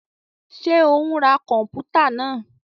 Ṣe o n rá kọnputa náà?